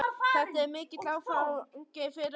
Þetta er mikill áfangi fyrir okkur Ísbjörg, segir mamma.